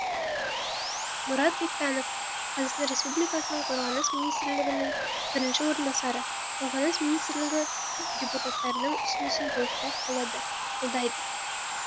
мұрат бектанов қазақстан республикасы қорғаныс министрінің бірінші орынбасары қорғаныс министрлігі депутаттардың ұсынысын толықтай қолдайды